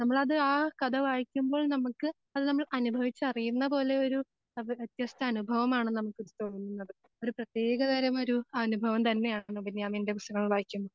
നമ്മളത് ആ കഥ വായിക്കുമ്പോൾ നമുക്ക് അത് നമ്മൾ അനുഭവിച്ചറിയുന്ന പോലൊരു വ്യത്യസ്ത അനുഭവമാണ് നമുക്ക് തോന്നുന്നത് അത് ഒരു പ്രത്യേകതരം ഒരു അനുഭവം തന്നെയാണ് ബെന്യാമിൻ്റെ പുസ്തകങ്ങൾ വായിക്കുമ്പോൾ